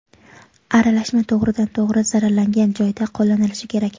Aralashma to‘g‘ridan to‘g‘ri zararlangan joyda qo‘llanilishi kerak.